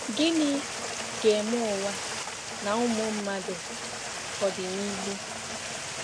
“Gịnị ga-eme ụwa na ụmụ mmadụ ọdịnihu?